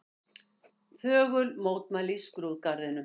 Þögul mótmæli í skrúðgarðinum